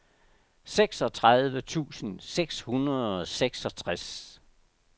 seksogtredive tusind seks hundrede og seksogtres